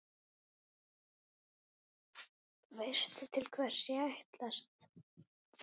Veistu til hvers ég ætlast?